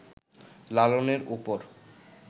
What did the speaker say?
লালনের ওপর